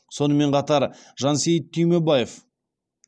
сонымен қатар жансейіт түймебаев